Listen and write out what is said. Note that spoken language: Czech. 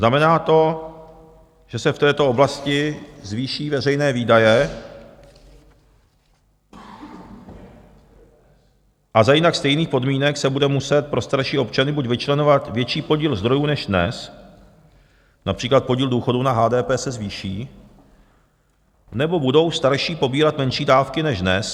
Znamená to, že se v této oblasti zvýší veřejné výdaje a za jinak stejných podmínek se bude muset pro starší občany buď vyčleňovat větší podíl zdrojů než dnes, například podíl důchodů na HDP se zvýší, nebo budou starší pobírat menší dávky než dnes.